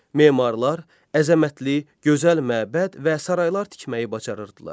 Memarlar əzəmətli, gözəl məbəd və saraylar tikməyi bacarırdılar.